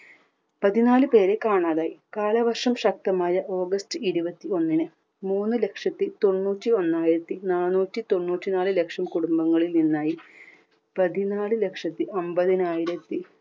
പതിനാല് പേരെ കാണാതായി. കാലവർഷം ശക്തമായ ഓഗസ്റ്റ് ഇരുപത്തി ഒന്നിന് മൂന്നുലക്ഷത്തി തൊണ്ണൂറ്റി ഒന്നായിരത്തി നാനൂറ്റി തൊണ്ണൂറ്റി നാല് ലക്ഷം കുടുംബങ്ങളിൽ നിന്നായി പതിനാല് ലക്ഷത്തി അന്പതിനായിരത്തി